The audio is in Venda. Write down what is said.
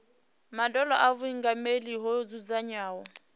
madalo a vhuingameli ho dzudzanywaho